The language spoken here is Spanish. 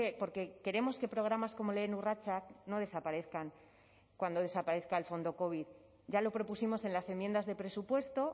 porque queremos que programas como lehen urratsak no desaparezcan cuando desaparezca el fondo covid ya lo propusimos en las enmiendas de presupuesto